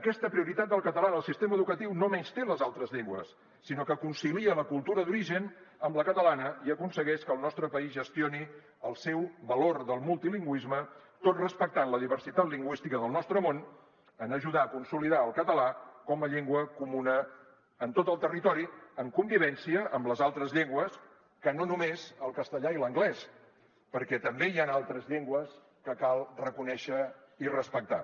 aquesta prioritat del català en el sistema educatiu no menysté les altres llengües sinó que concilia la cultura d’origen amb la catalana i aconsegueix que el nostre país gestioni el seu valor del multilingüisme tot respectant la diversitat lingüística del nostre món en ajudar a consolidar el català com a llengua comuna en tot el territori en convivència amb les altres llengües que no només el castellà i l’anglès perquè també hi han altres llengües que cal reconèixer i respectar